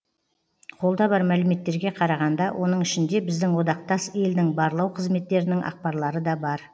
қолда бар мәліметтерге қарағанда оның ішінде біздің одақтас елдің барлау қызметтерінің ақпарлары да бар